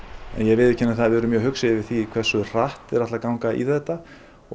ég viðurkenni það að við erum mjög hugsi yfir því hversu hratt þeir ætla að ganga í þetta og